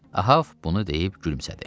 Ahab bunu deyib gülümsədi.